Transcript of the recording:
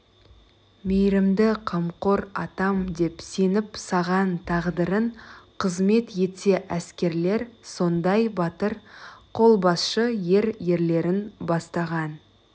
мейірімді қамқор атам деп сеніп саған тағдырын қызмет етсе әскерлер сондай батыр қолбасшы ер ерлерін бастаған